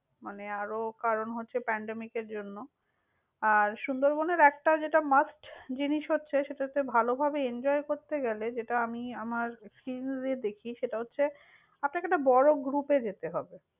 মানে, আরও কারন হচ্ছে pandemic এর জন্য। আর, সুন্দরবন এর একটা যেটা must, জিনিস হচ্ছে সেটা হচ্ছে, ভালোভাবে enjoy করতে গেলে, যেটা আমি আমার experience দিয়ে দেখি সেটা হচ্ছে, আপনাকে একটা বড় group এ যেতে হবে।